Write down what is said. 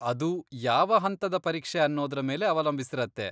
ಅದು ಯಾವ ಹಂತದ ಪರೀಕ್ಷೆ ಅನ್ನೋದ್ರ ಮೇಲೆ ಅವಲಂಬಿಸಿರತ್ತೆ.